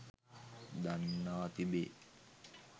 දන්වා තිබේ.